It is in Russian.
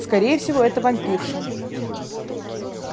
скорее всего это вампирша